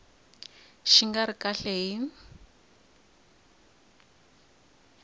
xi nga ri kahle hi